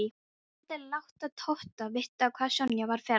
Hann vildi láta Tóta vita hvað Sonja var ferleg.